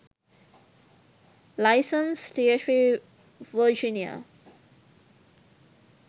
license dhp virginia